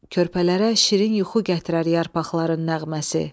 Körpələrə şirin yuxu gətirər yarpaqların nəğməsi.